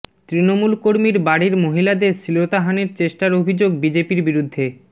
তৃণমূল কর্মীর বাড়ির মহিলাদের শ্লীলতাহানির চেষ্টার অভিযোগ বিজেপির বিরুদ্ধে